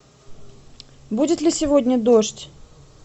будет ли сегодня дождь